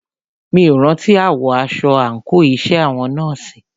Mí ò rántí àwọ̀ aṣọ àńkò iṣẹ́ àwọn nọ́ọ̀sì.